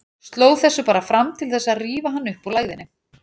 Sló þessu bara fram til þess að rífa hann upp úr lægðinni.